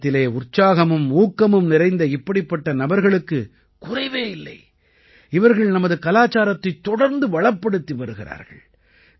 பாரதத்திலே உற்சாகமும் ஊக்கமும் நிறைந்த இப்படிப்பட்ட நபர்களுக்குக் குறைவே இல்லை இவர்கள் நமது கலாச்சாரத்தைத் தொடர்ந்து வளப்படுத்தி வருகிறார்கள்